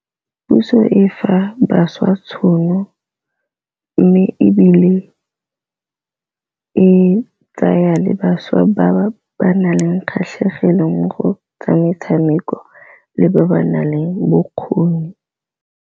Puso e fa bašwa tšhono, mme ebile e tsaya le bašwa ba ba naleng kgatlhegelong mo go tsa metshameko le ba ba nang le bokgoni.